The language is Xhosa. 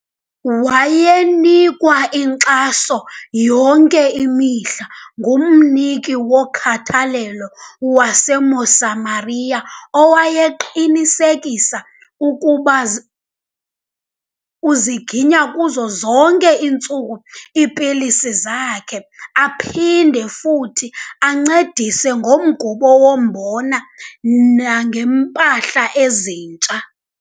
Wayenikwa inkxaso yonke imihla ngumniki wokhathalelo waseMosamaria, owayeqinisekisa ukuba uziginya kuzo zonke iintsuku iipilisi zakhe aphinde futhi ancedise ngomgubo wombona nangeempahla ezintsha .